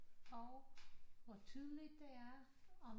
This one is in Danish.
Og hvor tydeligt det er om